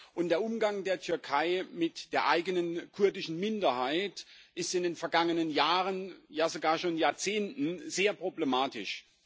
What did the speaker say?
Und der Umgang der Türkei mit der eigenen kurdischen Minderheit ist in den vergangenen Jahren, ja sogar schon Jahrzehnten, sehr problematisch.